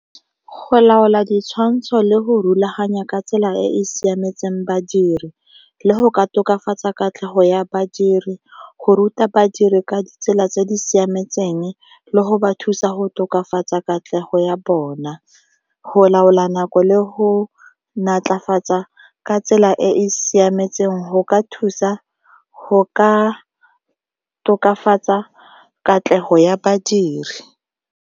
Go laola ditshwantsho le go rulaganya ka tsela e e siametseng badiri le go ka tokafatsa katlego ya badiri, go ruta badiri ka ditsela tse di siametseng, le go ba thusa go tokafatsa katlego ya bona, go laola nako le ho naatlafatsa ka tsela e e siametseng go ka thusa go ka tokafatsa katlego ya badiri.